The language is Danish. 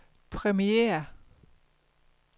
premiere